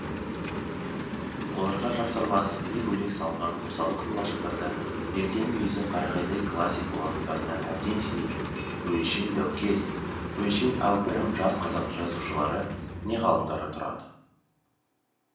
оларға жапсарлас не бөлек салынған қосалқы лашықтарда ертең мүйізі қарағайдай классик болатындарына әбден сенетін өңшең дәукес өңшең әупірім жас қазақ жазушылары не ғалымдары тұрады